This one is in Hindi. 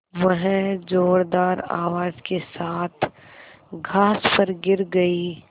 वह ज़ोरदार आवाज़ के साथ घास पर गिर गई